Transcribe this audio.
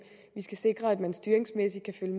vi skal sikre at man styringsmæssigt kan